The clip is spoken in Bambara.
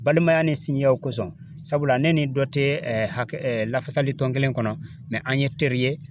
Balimaya ni sinjiw kosɔn sabula ne ni dɔ tɛ hakɛ lafasali tɔn kelen kɔnɔ an ye teri ye.